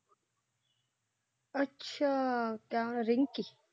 ਅੱਛਾ ਜਿਹੜੀ ਚੂਸ।